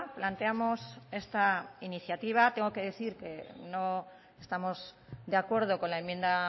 planteamos esta iniciativa tengo que decir que no estamos de acuerdo con la enmienda